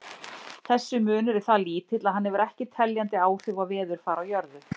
Þessi munur er það lítill að hann hefur ekki teljandi áhrif á veðurfar á jörðu.